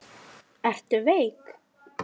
Ertu veik?